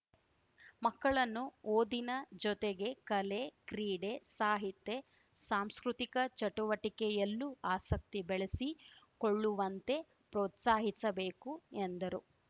ಮಕ್ಕಳನ್ನು ಓದಿನ ಜೊತೆಗೆ ಕಲೆ ಕ್ರೀಡೆ ಸಾಹಿತೆ ಸಾಂಸ್ಕೃತಿಕ ಚಟುವಟಿಕೆಯಲ್ಲೂ ಆಸಕ್ತಿ ಬೆಳೆಸಿಕೊಳ್ಳುವಂತೆ ಪ್ರೋತ್ಸಾಹಿಸಬೇಕು ಎಂದರು